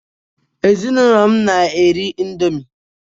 Ezinụlọ m na-eri indomi